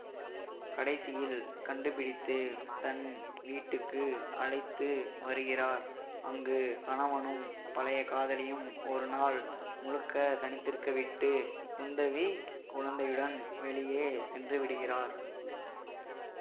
கடைசியில் கண்டுபிடித்து தன் வீட்டுக்கு அழைத்து வருகிறார் அங்கு கணவனும் பழைய காதலியும் ஒரு நாள் முழுக்க தனித்திருக்கவிட்டு குந்தவி குழந்தையுடன் வெளியே சென்றுவிடுகிறார்